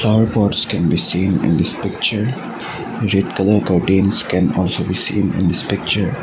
flower pots can seen in this picture red colour curtains can also be seen in this picture.